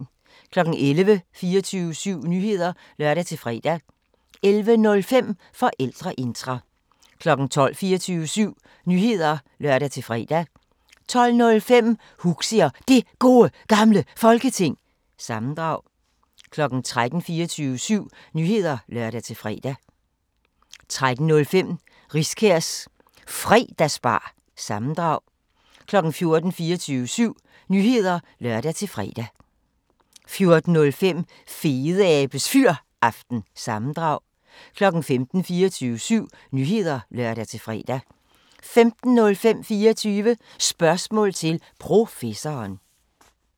11:00: 24syv Nyheder (lør-fre) 11:05: Forældreintra 12:00: 24syv Nyheder (lør-fre) 12:05: Huxi og Det Gode Gamle Folketing – sammendrag 13:00: 24syv Nyheder (lør-fre) 13:05: Riskærs Fredagsbar- sammendrag 14:00: 24syv Nyheder (lør-fre) 14:05: Fedeabes Fyraften – sammendrag 15:00: 24syv Nyheder (lør-fre) 15:05: 24 Spørgsmål til Professoren